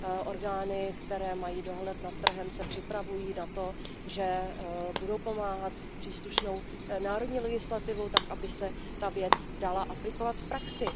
Orgány, které mají dohled nad trhem, se připravují na to, že budou pomáhat s příslušnou národní legislativou tak, aby se ta věc dala aplikovat v praxi.